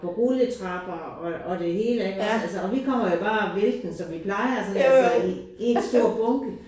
På rulletrapper og og det hele iggås altså og vi kommer jo bare væltende som vi plejer sådan altså i én stor bunke